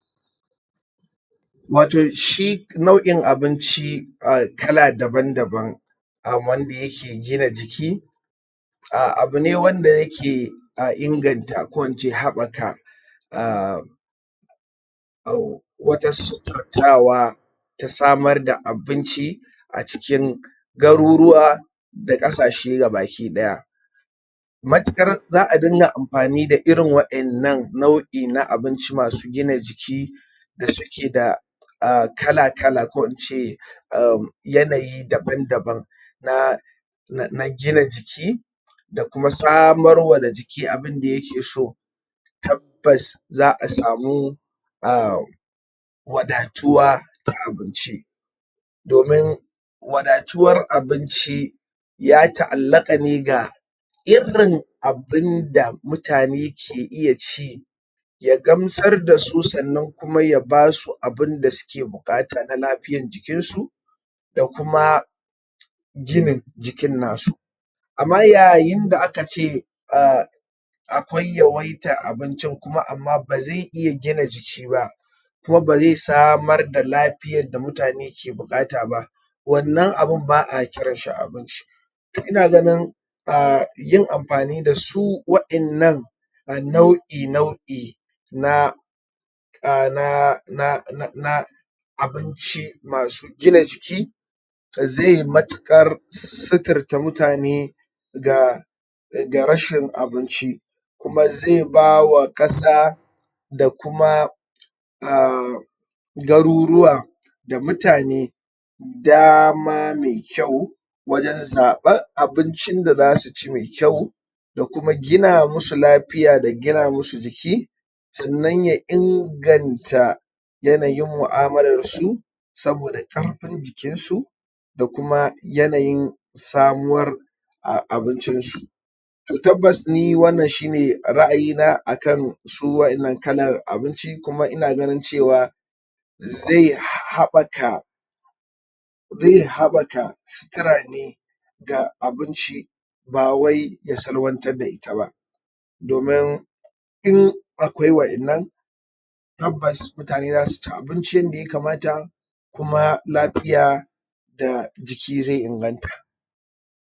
Wato shi nau'in abinci um kala daban daban wanda ya ke gina jiki abune wanda ya ke inganta ko in ce haɓaka um wajen suturtawa da samar da abinci a cikin garuruwa da ƙasashe ba ki daya. Matuƙar za a dinga amfani da irin waɗannan nauʼi na abinci masu gina jiki da suke da kala kala ko in ce um yanayi daban daban na na gina jiki da kuma samar wa da jiki abinda ya ke so. Tabbas za a sami um wadatuwa na abinci. Domin wadatuwar abinci ya taʼallaka ne ga irin abinda mutane ke iya ci ya gamsar da su kuma ya ba su abinda suke iya bukata na lafiyar jikinsu da kuma ginin jikin na su. Amma yayin da aka ce um akwai yawaitan abincin kuma ba zai iya gina jiki ba kuma bai samar da lafiyan da mutane ke buƙata ba to wannan abin ba a kiranshi abinci. Ina ganin yin amfani da su waɗannan nau'i nau'i na abinci masu gina jiki zai matuƙar suturta mutane ga ga rashin abinci da zai ba wa ƙasa da kuma um garuruwa da mutane da ma mai kyau wajen zaɓin abincin da za su ci mai kyau da kuma gina musu lafiya da gina musu jiki sannan ya inganta yanayin muʼamalarsu saboda ƙarfin jikinsu da kuma yanayin samuwar abincin su. Tabbas ni wannan shine raʼayi na akan su waɗannan kalan abinci kuma ina ganin cewa zai iya haɓaka zai iya haɓaka situra ne ga abinci ba wai ya salwantar da ita ba domin in akwai waɗannan tabbas mutane za su ci abincin da ya kamata kuma lafiya da jiki zai inganta.